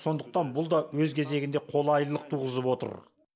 сондықтан бұл да өз кезегінде қолайлылық туғызып отыр